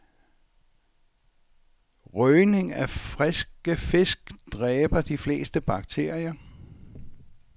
Røgning af friske fisk dræber de fleste bakterier.